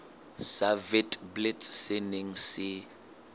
sa witblits se neng se